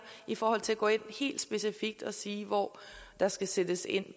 i forhold til at gå ind helt specifikt og sige hvor der skal sættes ind